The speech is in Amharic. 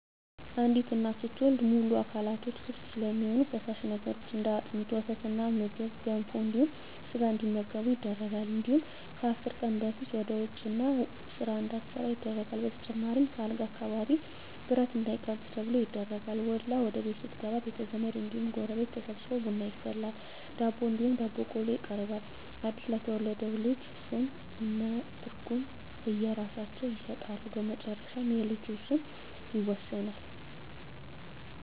አንዲት እናት ስትወልድ ሙሉ አካላቶች ክፍት ስለሚሆኑ ፈሳሽ ነገሮች እንደ አጥሚት: ወተትና ምግብ ገንፎ እንዲሁም ስጋ እንዲመገቡ ይደረጋል እንዲሁም ከአስር ቀን በፊት ወደ ውጭ እና ስራ እንዳትሠራ ይደረጋል በተጨማሪም ከአልጋ አካባቢ ብረት እንዳይቃጁ ተብሎ ይደረጋል። ወልዳ ወደቤት ስትገባ ቤተዘመድ እንዲሁም ጎረቤት ተሠብስቦ ቡና ይፈላል ዳቦ እንዲሁም ዳቦ ቆሎ ይቀርባል አድስ ለተወለደው ልጅ ስም ከእነ ትርጉም የእየራሳቸውን ይሠጣሉ በመጨረሻ የልጁ ስም ይወሰናል።